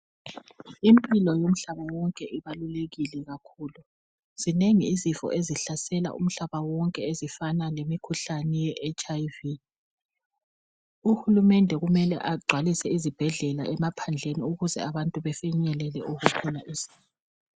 Impilo yomhlaba wonke ibalulekile kakhulu. Zinengi izifo ezihlasela umhlaba wonke ezifana nemikhuhlane ye-HIV. Uhulumende kumele agcwalise izibhedlela emaphandleni ukuze abantu befinyelele ukuthola usizo.